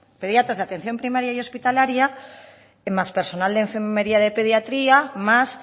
pediatras de atención primaria y hospitalaria más personal de enfermería de pediatría más